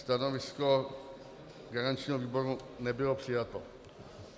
Stanovisko garančního výboru nebylo přijato.